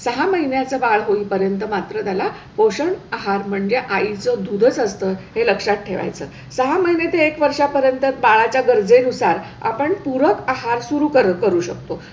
सहा महिन्याचं बाळ होईपर्यंत मात्र त्याला पोषण आहार म्हणजे आई दुधाचं असतं हे लक्षात ठेवायच सहा महिनेते एक वर्षांपर्यंत बाळाच्या गरजेनुसार आपण पूरक आहार सुरू करू शकतो.